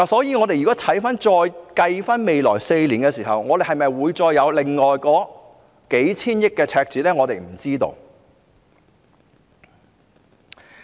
因此，如果再計算未來4年，是否會出現另外數千億元赤字，大家都不知道。